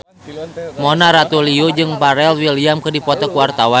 Mona Ratuliu jeung Pharrell Williams keur dipoto ku wartawan